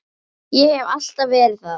Ég hef alltaf verið það.